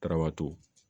Garabato